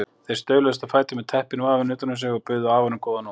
Þeir stauluðust á fætur með teppin vafin utan um sig og buðu afanum góða nótt.